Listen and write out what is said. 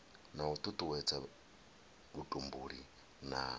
na u tutuwedza vhutumbuli na